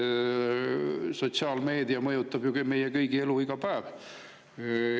Sotsiaalmeedia mõjutab meie kõigi elu iga päev.